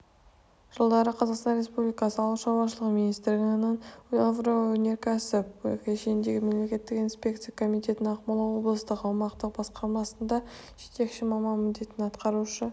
жылдары қазақстан республикасы ауыл шаруашылығы министрлігінің агроөнеркәсіп кешеніндегі мемлекеттік инспекция комитетінің ақмола облыстық аумақтық басқармасында жетекші маман міндетін атқарушы